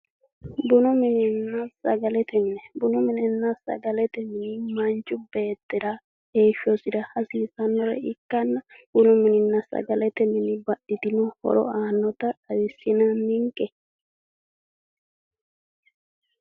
Bunu minenna sagalete mine machi beettira heeshshosira hasiissanore ikanna